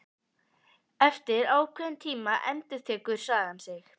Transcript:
Eftir ákveðinn tíma endurtekur sagan sig.